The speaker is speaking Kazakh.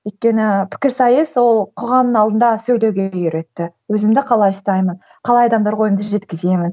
өйткені пікірсайыс ол қоғамның алдында сөйлеуге үйретті өзімді қалай ұстаймын қалай адамдарға ойымды жеткіземін